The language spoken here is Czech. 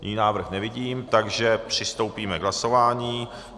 Jiný návrh nevidím, takže přistoupíme k hlasování.